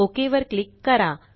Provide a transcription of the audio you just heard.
okay वर click करा